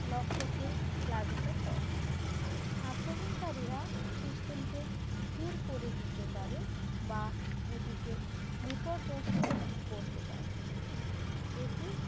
লক্ষ্যকে প্লাবিত করেন আক্রমণকারীরা system কে ধীর করে দিতে পারে বা এটিকে বিপর্যস্ত করতে পারে এটি